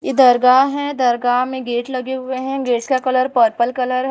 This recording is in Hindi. दरगाह है दरगाह में गेट लगे हुए हैं गेट का कलर पर्पल कलर है।